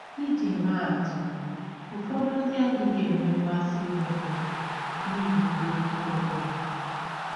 Iji maa atụ: Ụfọdụ ndị adịghị enwe mmasị ịra gọva n’ihi ọbere mkpụrụ ha.